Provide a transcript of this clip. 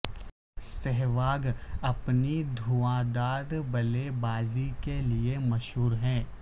سہواگ اپنی دھواں دھار بلے بازی کے لیے مشہور ہیں